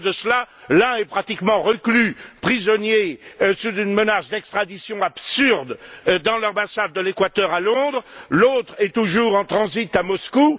Au lieu de cela, l'un est pratiquement reclus, prisonnier, sous une menace d'extradition absurde dans l'ambassade de l'Équateur à Londres, l'autre est toujours en transit à Moscou.